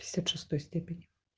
пятьдесят шестой степени